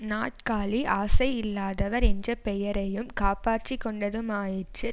நாற்காலி ஆசை இல்லாதவர் என்ற பெயரையும் காப்பாற்றி கொண்டதுமாயிற்று